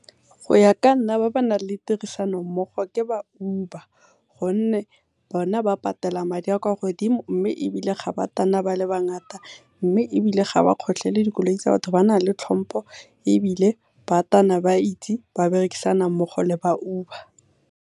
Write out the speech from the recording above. Go ya ka nna ba ba nang le tirisano mmogo ke ba Uber gonne bone ba patela madi a a kwa godimo mme ebile ga ba tana ba le bangata, mme ebile ga ba kgotlhele dikoloi tsa batho, ba na le tlhompho ebile ba tana ba itse gore ba berekisana mmogo le ba Uber.